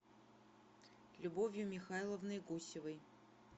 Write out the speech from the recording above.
любовью михайловной гусевой